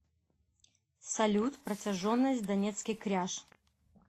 салют протяженность донецкий кряж